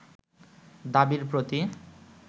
দাবির প্রতি